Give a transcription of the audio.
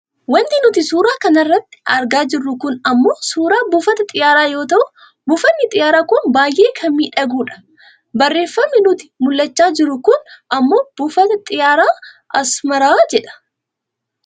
Wanti nuti suura kana irratti argaa jirru kun ammoo suuraa buufata xiyaaraa yoo ta'u, buufanni xiyyaaraa kun baayye kan miidhagudha. Barreefamni nutti mul'achaa jiru kun ammoo" buufata xiyyaaraa Asmaraa" jedha